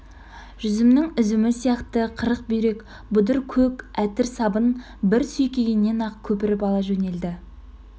жүзімнің үзімі сияқты қырық бүйрек бұдыр көк әтір сабын бір сүйкегеннен-ақ көпіріп ала жөнелді